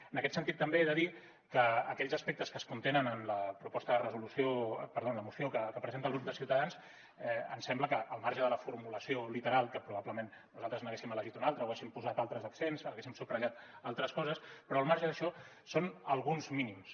en aquest sentit també he de dir que aquells aspectes que es contenen en la proposta de resolució perdó en la moció que presenta el grup de ciutadans ens sembla que al marge de la formulació literal que probablement nosaltres n’haguéssim elegit una altra o haguéssim posat altres accents haguéssim subratllat altres coses però al marge d’això són alguns mínims